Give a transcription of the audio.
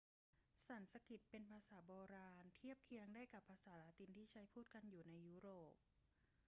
สันสกฤตเป็นภาษาโบราณ เทียบเคียงได้กับภาษาละตินที่ใช้พูดกันอยู่ในยุโรป